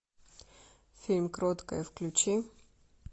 фильм кроткая включи